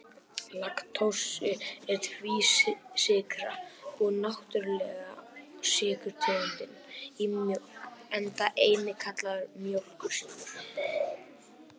Laktósi er tvísykra og náttúrulega sykurtegundin í mjólk, enda einnig kallaður mjólkursykur.